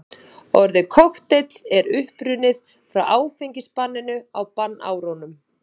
Orðið kokteill er upprunnið frá áfengisbanninu á bannárunum.